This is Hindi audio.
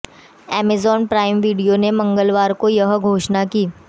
अमेजन प्राइम वीडियो ने मंगलवार को यह घोषणा की